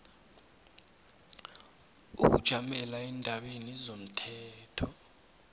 ukujamela eendabeni zomthetho